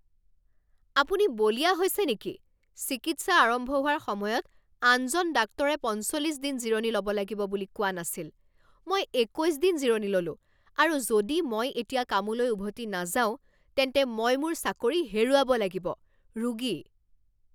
আপুনি বলিয়া হৈছে নেকি? চিকিৎসা আৰম্ভ হোৱাৰ সময়ত আনজন ডাক্তৰে পঞ্চল্লিছ দিন জিৰণি ল'ব লাগিব বুলি কোৱা নাছিল৷ মই একৈছ দিন জিৰণি ললোঁ আৰু যদি মই এতিয়া কামলৈ উভতি নাযাওঁ তেন্তে মই মোৰ চাকৰি হেৰুৱাব লাগিব। ৰোগী